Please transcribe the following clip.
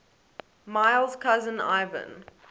miles cousin ivan